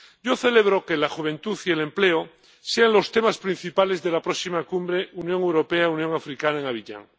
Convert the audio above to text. Yo celebro que la juventud y el empleo sean los temas principales de la próxima Cumbre Unión Europea Unión Africana en Abiyán.